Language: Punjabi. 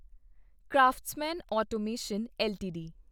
craftsman automation LTD